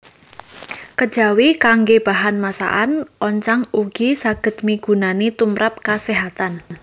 Kejawi kanggé bahan masakan oncang ugi saged migunani tumrap kaséhatan